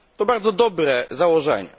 To bardzo dobre założenie.